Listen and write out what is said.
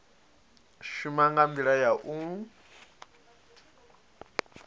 shuma nga ndila ya u